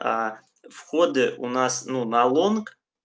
входы у нас ну на лонг